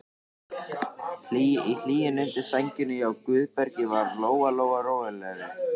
Í hlýjunni undir sænginni hjá Guðbergi varð Lóa-Lóa rólegri.